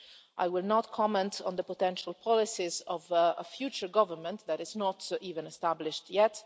I will not comment on the potential policies of a future government that is not even established yet.